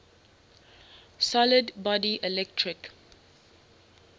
solid body electric